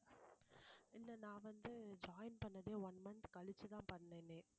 இல்லை நான் வந்து join பண்ணதே one month கழிச்சுதான் பண்ணேனே